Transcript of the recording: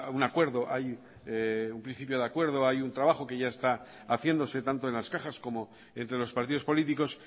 un acuerdo hay un principio de acuerdo hay un trabajo que ya está haciéndose tanto en las cajas como entre los partidos políticos